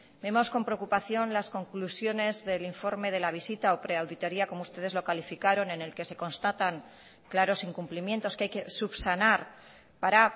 vemos con preocupación las conclusiones del informe de la visita o preauditoria como ustedes lo calificaron en el que se constatan claros incumplimientos que hay que subsanar para